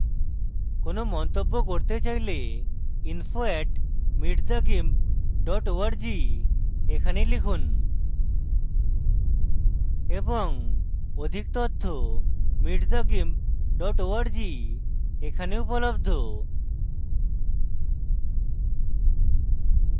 কোনো মন্তব্য করতে চাইলে info @meetthegimp org তে লিখুন এবং অধিক তথ্য